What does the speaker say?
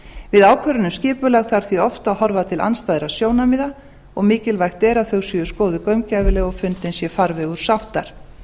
við ákvörðun um skipulag þarf því oft að horfa til andstæðra sjónarmiða og mikilvægt er að þau séu skoðuð gaumgæfilega og fundinn sé farvegur sáttar